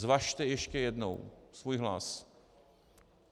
Zvažte ještě jednou svůj hlas.